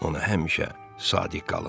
Onu həmişə sadiq qalın.